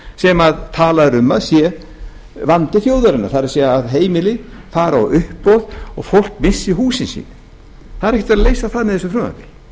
sem talað er um að sé vandi þjóðarinnar það er að heimilið fari á uppboð og fólk missi húsin sín það er ekki verið að leysa það með þessu frumvarpi